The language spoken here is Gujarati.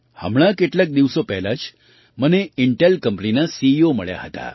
હમણાં કેટલાક દિવસો પહેલાં જ મને ઇન્ટેલ કંપનીના સીઇઓ મળ્યા હતા